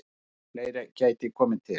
Fleira geti komið til.